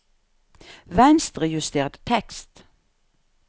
Venstrejuster tekst